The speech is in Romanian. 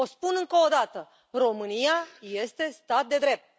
O spun încă o dată România este stat de drept.